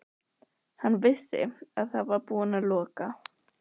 Hann vissi að það var búið að loka